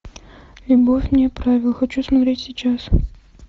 любовь вне правил хочу смотреть сейчас